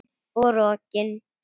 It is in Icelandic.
Og rokin.